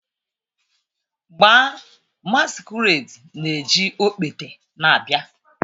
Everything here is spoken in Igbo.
Gbaa, masquerade na-eji okpete na-abịa